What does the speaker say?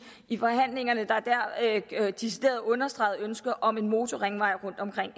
i forhandlingerne der decideret understregede ønsket om en motorringvej rundt omkring